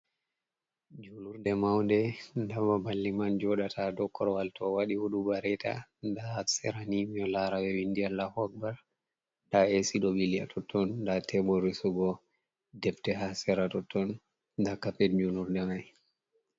Julurde, maunde da babal liman jodata do korwal to wadi hudubareta da ha serani mido lara be vindi Allahu Akhbar, da AC do bili ha totton da tebol resugo debte ha sera totton da carpet julurde mai.